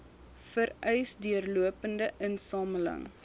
vereis deurlopende insameling